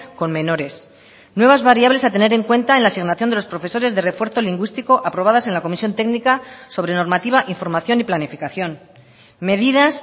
con menores nuevas variables a tener en cuenta en la asignación de los profesores de refuerzo lingüístico aprobadas en la comisión técnica sobre normativa información y planificación medidas